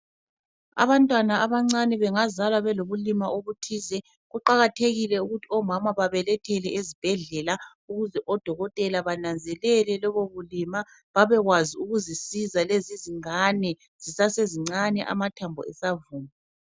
Abantwana abancane bengazalwa belobulima obuthize, kuqakathekile ukuthi omama babelethele ezibhedlela ukuze odokotela bananzelele lobo bulima babekwazi ukuzisiza lezi zingane zisasezincane amathambo esavuma.